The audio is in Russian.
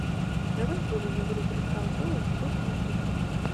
давай врубим игру кристал пэлас против манчестера